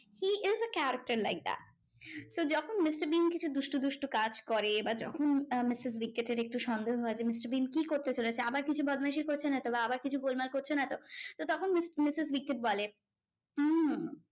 Is a character like that তো যখন Mister Bean কিছু দুস্টু দুস্টু কাজ করে বা যখন মিস্টার বিনকে ছেড়ে একটু সন্দেহ হয় যে মিস্টার বিন কি করতে চলেছে? আবার কিছু বদমাইশি করছে না তো? বা আবার কিছু গোলমাল করছে না তো? তো তখম মিস~ মিসেস বিকট বলে হম